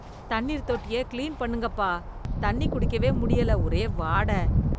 தண்ணீர் தொட்டிய க்ளீன் பண்ணுங்கப்பா தண்ணி குடிக்கவே முடியல, ஒரே வாட.